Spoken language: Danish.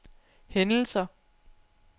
hændelser